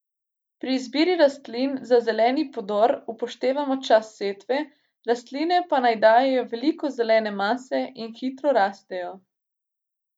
Pri izbiri rastlin za zeleni podor upoštevamo čas setve, rastline pa naj dajejo veliko zelene mase in hitro rastejo.